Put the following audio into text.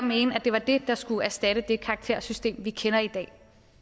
mene at det var det der skulle erstatte det karaktersystem vi kender i dag